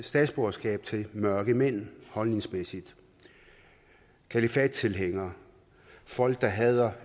statsborgerskab til mørkemænd holdningsmæssigt kalifattilhængere folk der hader